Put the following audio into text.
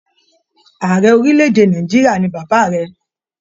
Ààrẹ orílẹ̀-èdè Nàìjíríà ni bàbá rẹ.